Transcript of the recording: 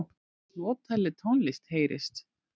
Notaleg tónlist heyrist.